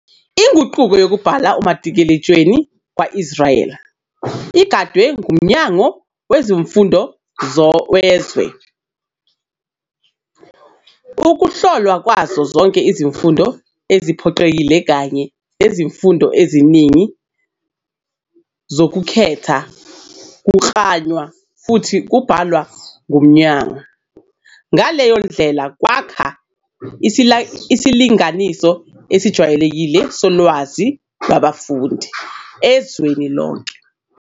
Inqubo yokubhala umatikuletsheni kwa-Israyeli igadwe nguMnyango Wezemfundo wezwe. Ukuhlolwa kwazo zonke izifundo eziphoqelekile kanye nezifundo eziningi zokukhetha kuklanywa futhi kwabhalwa nguMnyango, ngaleyo ndlela kwakha isilinganiso esijwayelekile solwazi lwabafundi ezweni lonke.